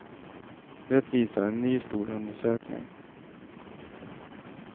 Det visar en ny, stor undersökning.